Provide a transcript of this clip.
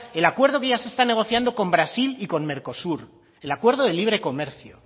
el acuerdo que ya se está negociando con brasil y con mercosur el acuerdo de libre comercio